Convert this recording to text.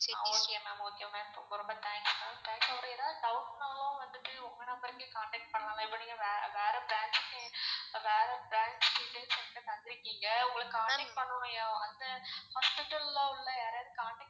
ஆஹ் okay ma'am okay ma'am ரொம்ப thanks ma'am plus ஏதாவது doubt னாலும் வந்துட்டு உங்க number கே contact பண்லாம்ல இப்போ நீங்க வேற branch க்கு வேற branch details என்ட தந்துருக்கீங்க உங்கள contact பண்ணனும் hospital ல உள்ள யாரையாவது contact